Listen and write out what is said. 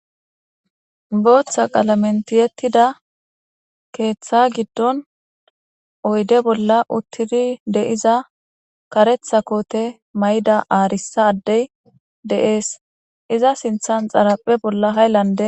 booththa qalamentiyettida keeththa giddon oyde bolla uttiri de iza karetha koote mayda aarissa addey de7ees iza sinthan xaraphe bolla hayllande